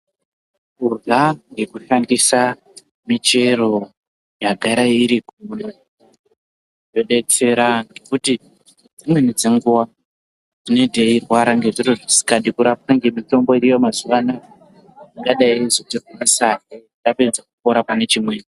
Kurya nekushandisa michero yagara iriko zvinodetsera kuti dzimweni dzenguwa tine teirwara ngezviro zvisikadi kurapwa ngemitombo iriyo mazuwa anaa ingadai yeizotirwarisahe tapedze kupora pane chimweni.